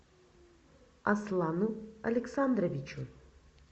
аслану александровичу